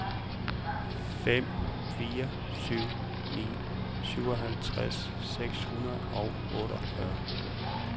fem fire syv ni syvoghalvtreds seks hundrede og otteogfyrre